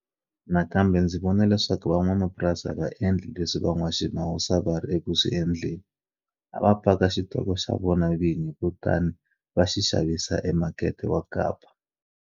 Nakambe ndzi vone leswaku van'wamapurasi a va endla leswi van'waswimawusa a va ri eku swi endleni. A va paka xitoko xa vona vinyi kutani va xi xavisa emakete wa Kapa.